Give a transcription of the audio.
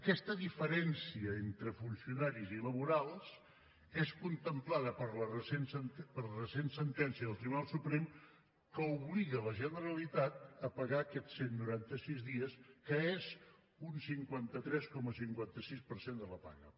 aquesta diferència entre funcionaris i laborals és contemplada per la recent sentència del tribunal suprem que obliga la generalitat a pagar aquests cent i noranta sis dies que és un cinquanta tres coma cinquanta sis per cent de la paga